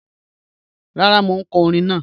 Rara, mo n ka ọ̀rìn naa.